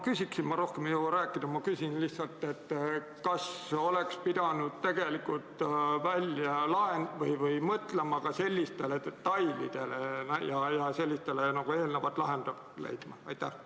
Kuna ma rohkem ei jõua rääkida, siis ma küsin: kas tegelikult oleks pidanud mõtlema ka sellistele detailidele ja neile eelnevalt lahenduse leidma?